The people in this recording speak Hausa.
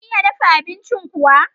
Kun iya dafa abincin kuwa?